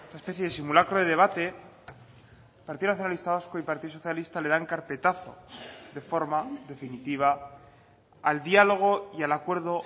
especie de simulacro de debate partido nacionalista vasco y partido socialista le dan carpetazo de forma definitiva al diálogo y al acuerdo